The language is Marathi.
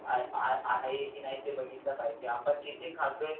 आहे कि नाही ते आपण भागीतले पाहिजे आपण जिथे खातो आहे